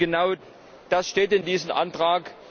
Genau das steht in diesem Antrag.